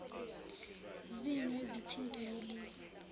zini ezithintwa yilezi